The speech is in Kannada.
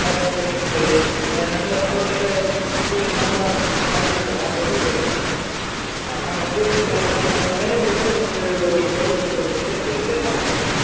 ಹೌದು ಬಲೀಂದ್ರ ಪೂಜೆ. ಅ~ ನಮ್ಮ ನಮ್ಮ ಕಡೆ Deepavali ಹಬ್ಬಾ ಆದ್ದಿತ ಮೋದಲ್ನೇ ದಿನಾ ಪೂಜೆ ಎಲ್ಲಾ ಮಾಡಿ ಅದ್ಮೇಲೆ ಸಂಜೆ ನಮ್ದು ಬಲೀಂದ್ರ ಪೂಜೆ ಅಂತ ಇರ್ತದೆ .